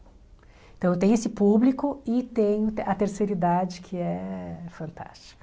Então eu tenho esse público e tenho a terceira idade que é fantástica.